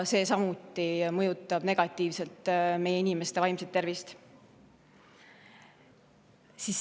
See mõjutab samuti negatiivselt meie inimeste vaimset tervist.